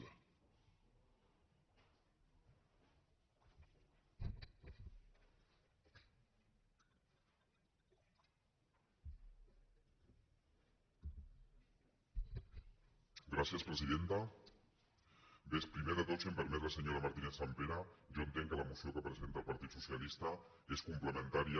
bé primer de tot si em permet la senyora martínez·sampere jo entenc que la moció que presenta el partit socialista és complementària